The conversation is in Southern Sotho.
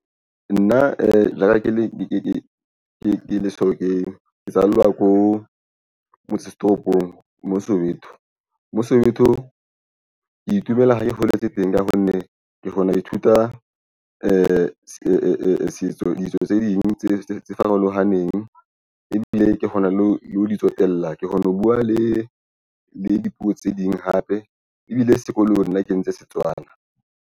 Nna e la ka ke Lehlokeng ke tsallwa ya ko motse setoropong moo Soweto moo Soweto ke itumela ha ke holetse teng ka ha nne ke kgona ho ithuta e setso. Ditso tse ding tse farolohaneng ebile ke kgona le ho lo di tsotella. Ke kgone ho buwa le le dipuo tse ding hape ebile sekolo. Nna ke entse setswana.